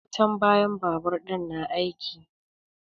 Wutan bayan babur ɗin na aiki.